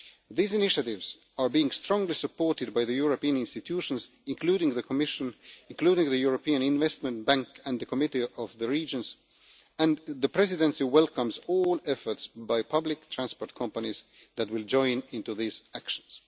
These initiatives are being strongly supported by the European Union institutions, including the Commission, the European Investment Bank and the Committee of the Regions, and the Presidency welcomes all efforts by public transport companies that will join in these actions.